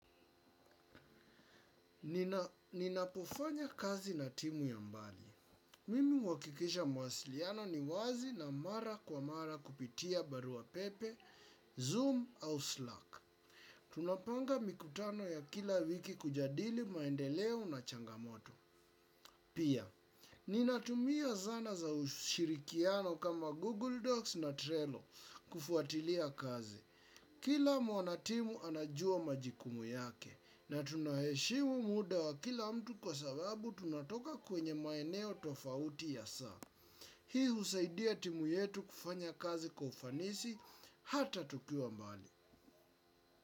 Ninapofanya kazi na timu ya mbali. Mimi huhakikisha mawasiliano ni wazi na mara kwa mara kupitia barua pepe, zoom au slack. Tunapanga mikutano ya kila wiki kujadili maendeleo na changamoto. Pia, ninatumia zana za ushirikiano kama Google Docs na Trello kufuatilia kazi. Kila mwanatimu anajua majukumu yake na tunaheshimu muda wa kila mtu kwa sababu tunatoka kwenye maeneo tofauti ya saa. Hii husaidia timu yetu kufanya kazi kwa ufanisi hata tukiwa mbali.